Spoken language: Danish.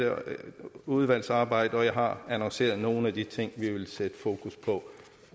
udvalgsarbejdet og jeg har annonceret nogle af de ting vi vil sætte fokus på